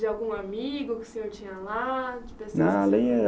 De algum amigo que o senhor tinha lá? De. Não ali